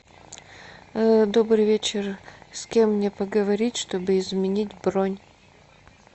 добрый вечер с кем мне поговорить чтобы изменить бронь